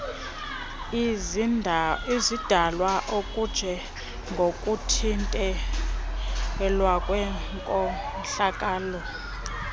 izidalwa okunjengokuthintelwa kwenkohlakalo